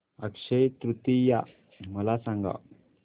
अक्षय तृतीया मला सांगा